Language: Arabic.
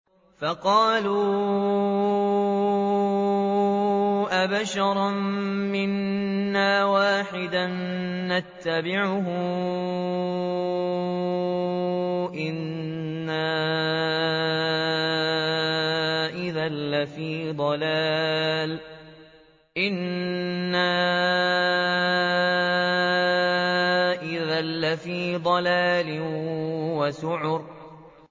فَقَالُوا أَبَشَرًا مِّنَّا وَاحِدًا نَّتَّبِعُهُ إِنَّا إِذًا لَّفِي ضَلَالٍ وَسُعُرٍ